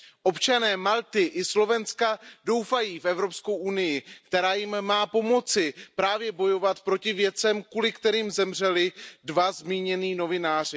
Občané Malty i Slovenska doufají v Evropskou unii, která jim má pomoci právě bojovat proti věcem, kvůli kterým zemřeli dva zmínění novináři.